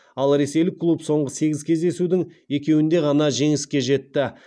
ал ресейлік клуб соңғы сегіз кездесудің екеуінде ғана жеңіске жетті